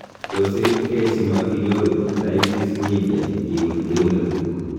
tos irib key si matinyoru otitis media ngiuun keunekuk